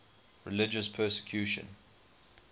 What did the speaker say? religious persecution